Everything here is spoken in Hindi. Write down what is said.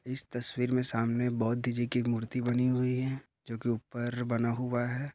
इस तस्वीर में सामने बौद्ध जी की मूर्ति बनी हुई हैं जो की ऊपर बना हुआ हैं।